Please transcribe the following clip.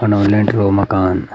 फनो लेंटर वल मकान।